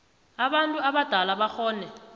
abantu abadala bakghone